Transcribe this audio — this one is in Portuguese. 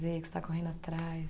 O que você está correndo atrás?